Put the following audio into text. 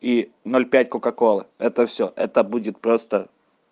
и ноль пять кока-колы это всё это будет просто